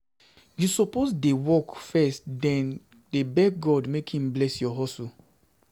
You suppose dey work first den dey beg God make im bless your your hustle